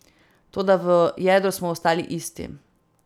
Toda v jedru smo ostali isti.